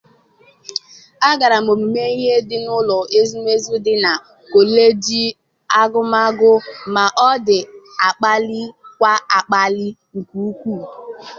Agara m ọmụmụ ihe n'ụlọ ezumezu dị na kọleji agụmakwụkwọ m, ọ na-akpalikwa akpali nke ukwuu!